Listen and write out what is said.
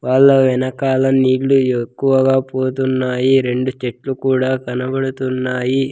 వాళ్ళ వెనకాల నీళ్లు ఎక్కువగా పోతున్నాయి రెండు చెట్లు కూడా కనబడుతున్నాయి.